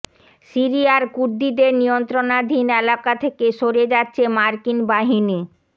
সিরিয়ার কুর্দিদের নিয়ন্ত্রণাধীন এলাকা থেকে সরে যাচ্ছে মার্কিন বাহিনী